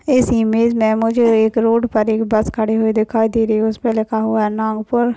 इस इमेज मुझे एक रोड पर एक बस खड़ी हुई दिखाए दे रही है उसपे लिखा हुआ है नागपुर।